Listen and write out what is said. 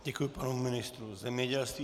Děkuji panu ministru zemědělství.